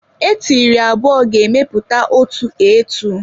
Eetịrị abụọ ga emeta otu eatu.